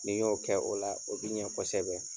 N'i y'o kɛ o la o bi ɲɛ kosɛbɛ.